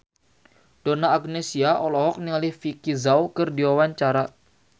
Donna Agnesia olohok ningali Vicki Zao keur diwawancara